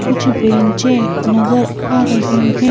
कुछ बेंचें नजर आ रही हैं।